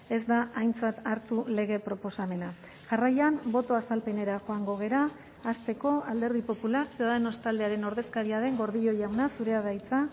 ez da aintzat hartu lege proposamena jarraian boto azalpenera joango gara hasteko alderdi popular ciudadanos taldearen ordezkaria den gordillo jauna zurea da hitza